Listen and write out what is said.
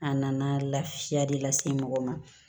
A nana lafiya de lase mɔgɔ ma